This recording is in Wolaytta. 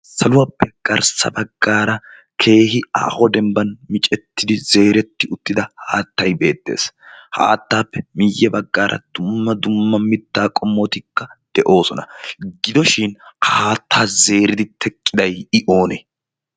saluwaappe garssa baggaara keehi aaho dembban micettidi zeeretti uttida haattay beettees haattaappe miyye baggaara dumma dumma mittaa qommotikka de'oosona gidoshin haatta zeeridi teqqiday i oonee?